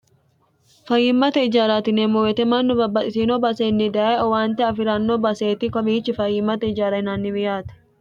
fayimmate ijaaraati yieemmo wete mannu babbaxitino baaseenni daye owaante afi'ranno baseeti komiichi fayimmate ijaara yinaanniwi yaate